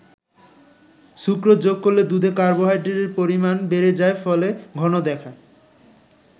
Sucrose যোগ করলে দুধে কার্বোহাইড্রেটের পরিমাণ বেড়ে যায় ফলে ঘন দেখায়।